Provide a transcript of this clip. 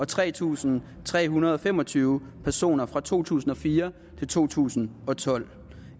tre tusind tre hundrede og fem og tyve personer fra to tusind og fire til to tusind og tolv